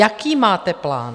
Jaký máte plán?